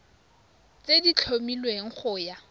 tse di tlhomilweng go ya